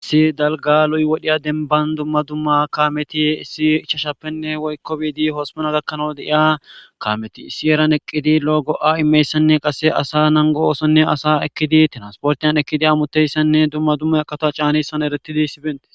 issi dalga luy wodhiya denban dumma dumma kaameti issi icshashappenne woykko biidi hosmona gakkanawu deiya kaameti issi eran eqqidi lo7o go7a immeyssanne qasse asa nango oosonne asa ekkidi tinansportiyan ekkidi amuteyssanne dumma dumma qato caanissan eretidi issibente